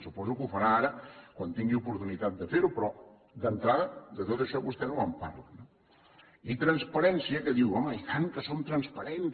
suposo que ho farà ara quan tingui oportunitat de fer ho però d’entrada de tot això vostè no me’n parla no i transparència que diu home i tant que som transparents